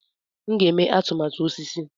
M ga-eme atụmatụ osisi